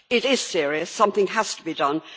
It is serious. Something has to be done.